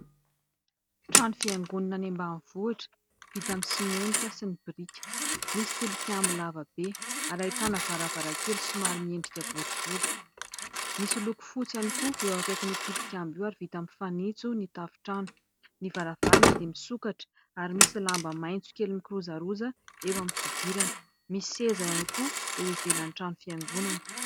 Trano fiangonana any ambanivohitra vita amin'ny simenitra sy ny biriky. Misy tilikambo lava be ary ahitana varavarankely somary miendrika boribory. Misy loko fotsy ihany koa eo akaikin'io tilikambo ary vita amin'ny fanitso ny tafontrano. Ny varavarana dia misokatra ary misy lamba maitso kely mikirozaroza eo amin'ny fidirana. Misy seza ihany koa eo ivelany trano fiangonana.